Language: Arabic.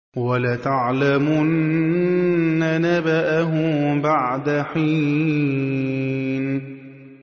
وَلَتَعْلَمُنَّ نَبَأَهُ بَعْدَ حِينٍ